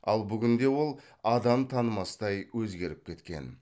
ал бүгінде ол адам танымастай өзгеріп кеткен